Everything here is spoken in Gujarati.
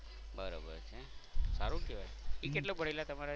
બરોબર છે સારું કેવાય એ કેટલું ભણેલા તમારા?